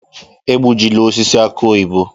Egbujịla osisi aki oyibo!